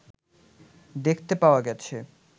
দেখতে পাওয়া গেছে